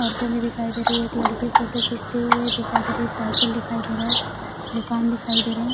औरतें भी दिखाई दे रही हैं एक लड़की फोटो खींचते हुए दिखाई दे रही है साइकिल दिखाई दे रहा है दुकान दिखाई दे रहे है।